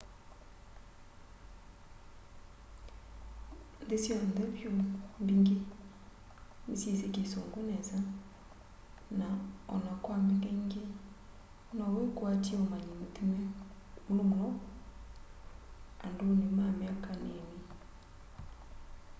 nthi syonthe vyu mbingi ni syisi kisungu nesa na o na kwa mbingaingi no wikwaty'e umanyi muthime muno muno anduni ma myaka nini